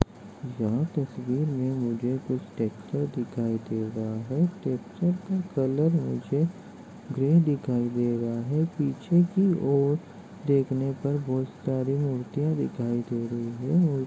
यह तस्वीर मे मुझे कुछ ट्रेक्टर दिखाई दे रहा हैट्रेक्टर का कलर मुझे गरे दिखाई दे रहा है पीछे की ओर देखने पर बहुत सारी मूर्तिया दिखाई दे रही है और--